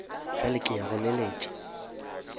bjale ke ya go leletša